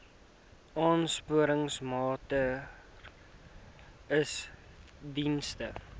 aansporingsmaatre ls diens